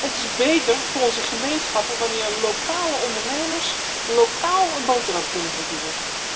Het is beter voor onze gemeenschappen wanneer lokale ondernemers lokaal een boterham kunnen verdienen.